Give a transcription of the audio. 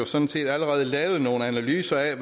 sådan set allerede lavet nogle analyser af